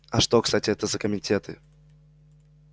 а что кстати это за комитеты